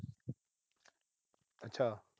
ਅੱਛਾ।